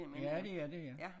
Ja det er det ja